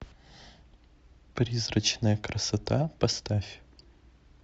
призрачная красота поставь